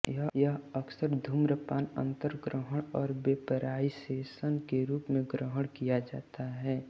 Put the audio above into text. यह अक्सर धूम्रपान अंतर्ग्रहण और वेपराईसेशन के रूप में ग्रहण किया जाता है